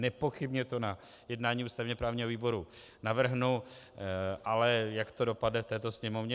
Nepochybně to na jednání ústavně právního výboru navrhnu, ale jak to dopadne v této Sněmovně.